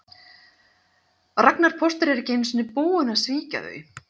Ragnar póstur er ekki einu sinni búinn að svíkja þau